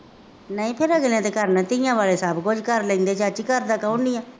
ਨਹੀਂ ਫੇਰ ਅਗਲੇ ਨੇ ਕਰਨਾ, ਧੀਆਂ ਵਾਲੇ ਸਭ ਕੁੱਝ ਕਰ ਲੈਂਦੇ, ਘਰਦਾ ਕੌਣ ਨਹੀਂ ਹੈ।